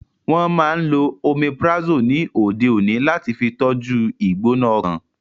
Wọ́n máa n lo Omeprazole ni òde òní láti fi tọ́jú u ìgbóná ọkàn